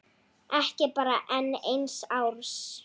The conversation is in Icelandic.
Ekki bara enn eins árs?